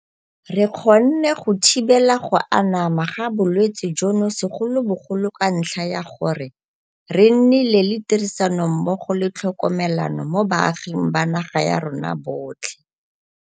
Re kgonne go thibela go anama ga bolwetse jono segolobogolo ka ntlha ya gore re nnile le tirisanommogo le tlhokomelano mo baaging ba naga ya rona botlhe.